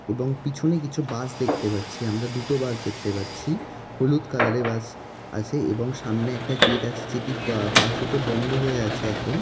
এবং পিছনে কিছু বাস দেখতে পাচ্ছি। আমরা দুটো বাস দেখতে পাচ্ছি হলুদ কালার এর বাস আছে এবং সামনে একটা গেট আছে। যেটি বা বাস দুটো বন্ধ হয়ে আছে এখন।